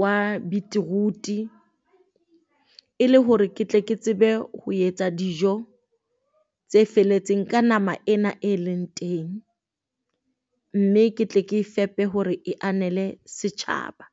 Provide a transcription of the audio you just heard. wa beetroot-e. Ele hore ke tle Ke tsebe ho etsa dijo tse felletseng ka nama ena e leng teng, mme ke tle ke e fepe hore e anele setjhaba.